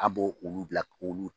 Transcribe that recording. An bo olu bila k'olu